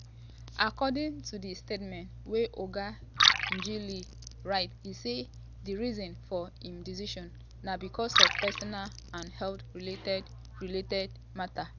according to di statement wey oga ngelale write e say di reason for im decision na becos of personal and health related related mata.